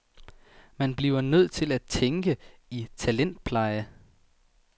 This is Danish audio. Man bliver nødt til at tænke i talentpleje.